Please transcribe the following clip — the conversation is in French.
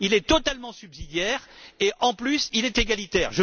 il est totalement subsidiaire et, en plus, il est égalitaire.